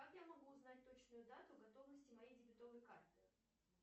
как я могу узнать точную дату готовности моей дебетовой карты